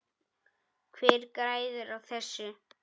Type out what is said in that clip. Hver græðir á þessu?